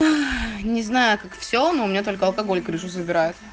не знаю как все но у меня только алкоголь крышу заберает